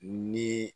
Ni